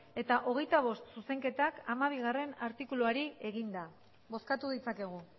eta hogeita bost zuzenketak hamabigarrena artikuluari eginda bozkatu ditzakegu